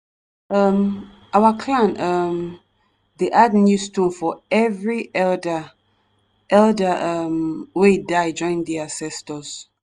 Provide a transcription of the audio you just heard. um our clan um dey add new stone for every elder elder um wey die join di ancestors